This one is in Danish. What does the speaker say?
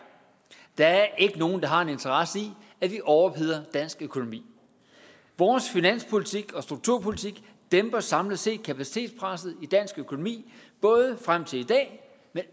der er ikke nogen der har en interesse i at vi overopheder dansk økonomi vores finanspolitik og strukturpolitik dæmper samlet set kapacitetspresset i dansk økonomi både frem til i dag